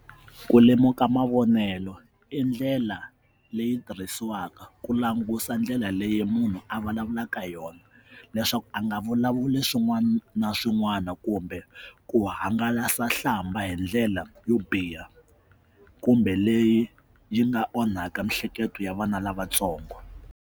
Ku lemuka mavonelo i ndlela leyi tirhisiwaka ku langusa ndlela leyi munhu a vulavulaka hi yona leswaku a nga vulavuli swin'wana na swin'wana kumbe ku hangalasa hlamba hi ndlela yo biha kumbe leyi yi nga onhaka miehleketo ya vana lavatsongo.